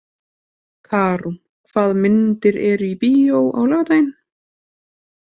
Karún, hvaða myndir eru í bíó á laugardaginn?